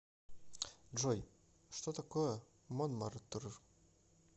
джой что такое монмартр